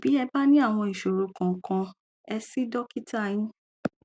bí ẹ bá ní àwọn ìṣòro kòòkan ẹ sí dọkítà yín